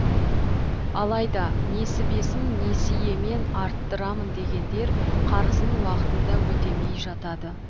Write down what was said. алайда несібесін несиемен арттырамын дегендер қарызын уақытында өтемей жатады